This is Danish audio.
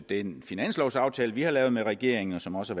den finanslovaftale vi har lavet med regeringen som også